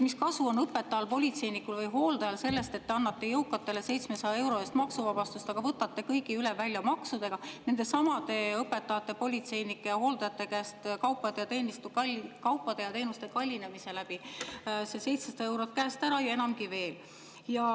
Mis kasu on õpetajal, politseinikul või hooldajal sellest, et te annate jõukatele 700 euro ulatuses maksuvabastust, aga võtate kõigi üle välja maksudega nendesamade õpetajate, politseinike, hooldajate käest kaupade ja teenuste kallinemise läbi selle 700 eurot käest ära ja enamgi veel.